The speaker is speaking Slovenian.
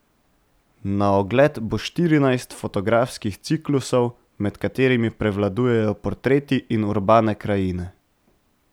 Na ogled bo štirinajst fotografskih ciklusov, med katerimi prevladujejo portreti in urbane krajine.